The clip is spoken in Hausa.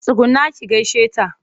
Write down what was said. Tsugunna ki gaishe ta!